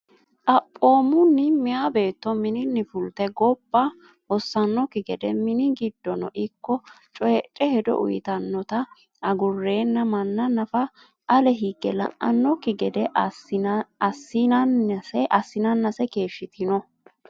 Xaphoomunni, meyaa beetto mininni fulte gobba hossannokki gede mini giddono ikko coyidhe hedo uyitannota agurranna manna nafa ale higge la’annokki gede assinannase keeshshitino.